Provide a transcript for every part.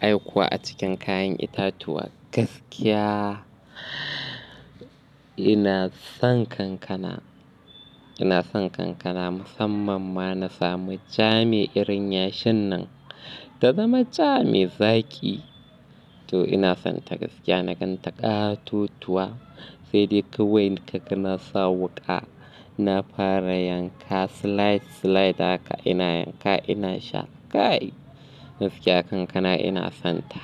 Aikuwa a cikin kayan itatuwa, gaskiya. Ina son kankana, ina son kankana musamman ma na sami ja mai irin yashin nan, ta zama ja mai zaƙi. To ina son ta gaskiya, na gan ta ƙaa totuwa, sai dai kawai naga kana sa wuka. Na fara yanka slide slide haka ina yanka ina sha. Gaskiya kankana ina son ta,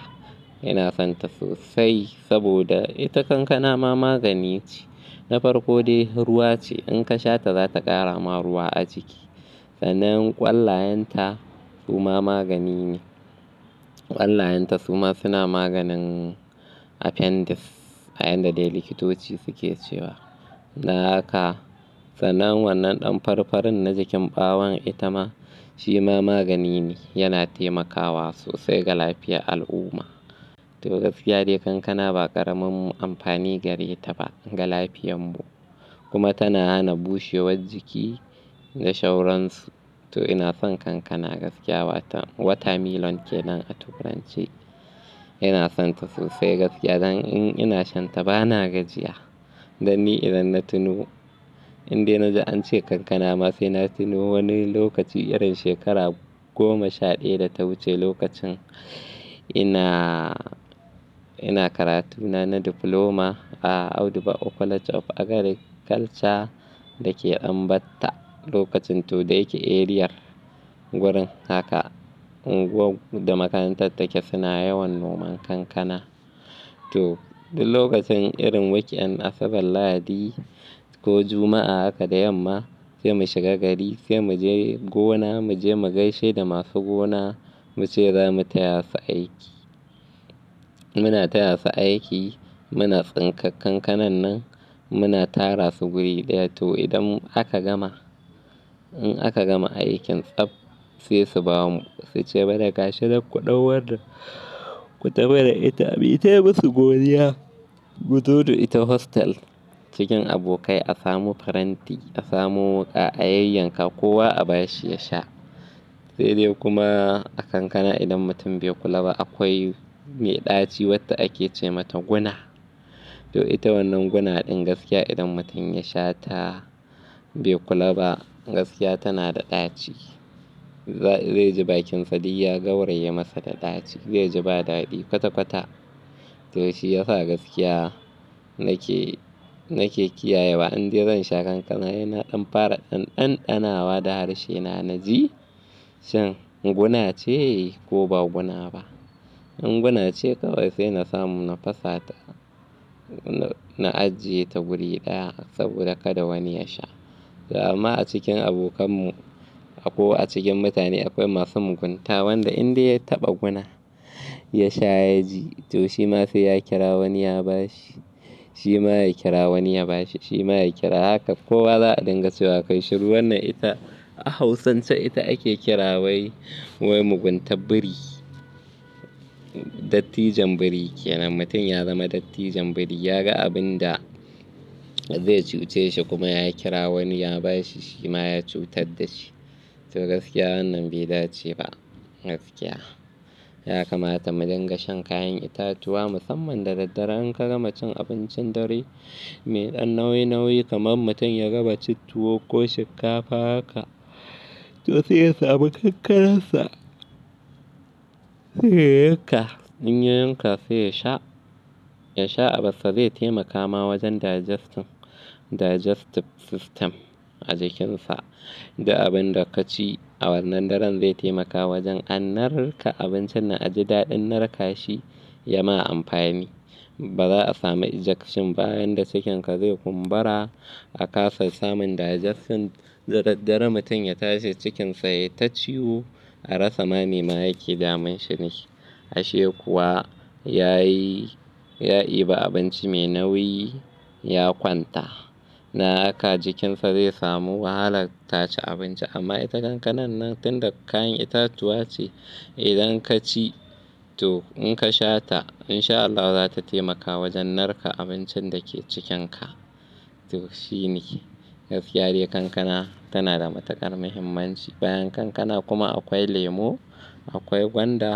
ina son ta sosai saboda ita kankana ma magani ce. Na farko dai ruwa ce, in ka sha ta za ta ƙara ma ruwa a jiki. Sannan ƙwallayenta suma magani ne. Ƙwallayenta suma suna maganin appendix, a yanda dai likitoci suke cewa. Dan haka sannan wannan ɗan farfarin na jikin ɓawon ita ma shi ma magani ne, yana taimakawa sosai ga lafiyar al'umma. To gaskiya dai kankana ba ƙaramin amfani gare ta ba ga lafiyanmu, kuma tana hana bushewar jiki da sauransu. To ina son kankana gaskiya, wato water melon ke nan a turance. Ina son ta sosai gaskiya dan in ina shan ta bana gajiya. Dan ni idan na tuno, indai na ji an ce kankana ma sai na tuno wani lokaci irin shekara goma sha ɗaya da ta wuce lokacin ina, ina karatu na na diploma a Audu bako College of Agriculture dake Ɗan Batta lokacin to dai yake arear wurin. Haka unguwar da makarantar take suna yawan noman kankana. To duk lokacin irin week end Asabar lahadi ko Juma'a haka da yamma, sai mu shiga gari sai mu je gona, mu je mu gaishe da masu gona mu ce za mu taya su aiki. Muna taya su aiki, muna tsinkan kankanan nan, muna tara su guri ɗaya. To idan aka gama, in aka gama aikin tsaf sai su ba mu. Su ce mana gashi duk ku ɗau wannan ku tafi da ita, mu yi ta musu godiya. Mu taho da ita hostel cikin abokan a samu faranti a samu wuka a yayyanka kowa a bashi ya sha. Sai dai kuma a kankana idan mutum bai kula ba akwai mai ɗaci wadda ake ce mata guna. To ita wannan guna ɗin gaskiya idan mutum ya sha ta bai kula ba, gaskiya tana da ɗaci. Zai ji bakinsa duk ya, gauraye masa da ɗaci, zai ji ba daɗi kwata kwata. To shi ya sa gaskiya nake, nake kiyaye wa indai zan sha kankana ina ɗan fara ɗanɗanawa da harshe na, na ji shin guna ce, ko ba guna ba. In guna ce kawai sai na samu na fasa ta, na ajiye ta guri ɗaya saboda kada wani ya sha. To amma a cikin abokanmu ko a cikin mutane akwai masu mugunta, wanda indai ya taɓa guna ya sha ya ji. To shi ma sai ya kira wani ya bashi, shi ma ya kira wani ya bashi, shi ma ya kira. Haka kowa za a ɗinga so. Wa ka shiru wannan ita a Hausance ita ake kira wai, wai muguntan biri, dattijan biri. Kianam mutum ya zama dattijan biri, ya ga abun da zai cuce shi kuma ya kira wani ya bashi shi ma ya cutar da shi. To gaskiya wannan bai dace ba. Gaskiya, ya kamata mu dinga shan kayan itatuwa musamman da daddare in ka gama cin abincin dare, mai ɗan nauyi, nauyi kamar mutum ya gama cin tuwo ko shinkafa haka to sai ya samu kankanar sa. Sai ya yanka, in ya yanka sai ya sha. Ya sha abassa zai taimaka ma wajen digestion, digestive system a jikinsa. Duk abin da ka ci a wannan daren zai taimaka wajen an narka abincin nan a ji daɗin narka shi ya ma amfani. Ba za a samu ejection ba, bayan da cikin ka zai kumbura a kasa samun digestion. Da daddare mutum ya tashi cikinsa ya ta ciwo a rasa ma me ma yake damun shi ne. Ashe kuwa yayi, ya yi ba abinci mai nauyi ya kwanta. Nan haka jikinsa zai samu wahala ta ci abinci. Amma ita kankanan nan tun da kayan itatuwa ce idan ka ci, to in ka sha ta in sha Allahu za ta taimaka wajen narka abincin da ke cikin ka. To shi ne, gaskiya dai kankana tana da matuƙar muhimmanci. Bayan kankana kuma akwai lemo, akwai gwanda.